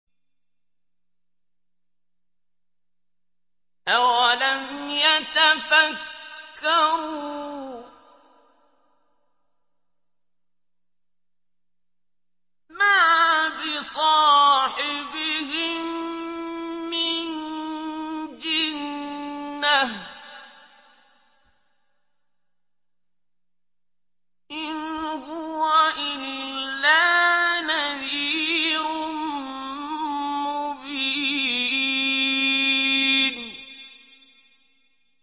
أَوَلَمْ يَتَفَكَّرُوا ۗ مَا بِصَاحِبِهِم مِّن جِنَّةٍ ۚ إِنْ هُوَ إِلَّا نَذِيرٌ مُّبِينٌ